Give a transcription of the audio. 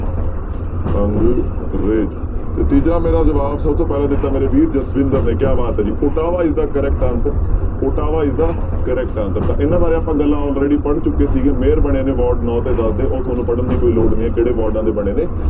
ਅੰਗਰੇਜ਼ ਤੇ ਤੀਜਾ ਮੇਰਾ ਜਵਾਬ ਸਭ ਤੋਂ ਪਹਿਲਾਂ ਦਿੱਤਾ ਮੇਰੇ ਵੀਰ ਜਸਵਿੰਦਰ ਨੇ ਕਿਆ ਬਾਤ ਹੈ ਜੀ Ottawa is the correct answer Ottawa is the correct answer ਤਾਂ ਇਹਨਾਂ ਬਾਰੇ ਆਪਾਂ ਪਹਿਲਾਂ already ਪੜ੍ਹ ਚੁੱਕੇ ਸੀਗੇ mayor ਬਣੇ ਨੇ ਵਾਰਡ ਨੋਂ ਤੇ ਦਸ ਦੇ, ਉਹ ਤੁਹਾਨੂੰ ਪੜ੍ਹਨ ਦੀ ਕੋਈ ਲੋੜ ਨੀ ਹੈ ਕਿਹੜੇ ਵਾਰਡਾਂ ਦੇ ਬਣੇ ਨੇ।